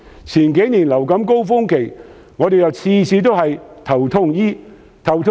前幾年面對流感高峰期，政府每次也是"頭痛醫頭"。